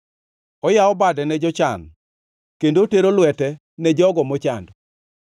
Oyawo bade ne joma jochan kendo otero lwete ne jogo mochando.